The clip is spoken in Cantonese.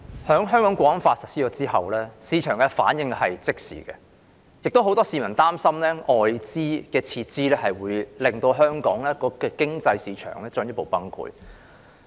《香港國安法》實施後，市場的反應是即時的，亦有很多市民擔心，外資撤資會令香港的市場經濟進一步崩潰。